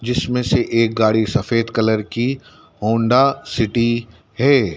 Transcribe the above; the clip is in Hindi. जिसमें से एक गाड़ी सफेद कलर की होंडा सिटी है।